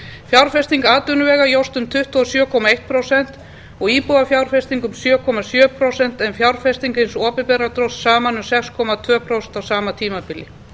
fjárfesting atvinnuvega jókst um tuttugu og sjö komma eitt prósent og íbúðafjárfesting um sjö komma sjö prósent en fjárfesting hins opinbera dróst saman um sex komma tvö prósent á sama tímabili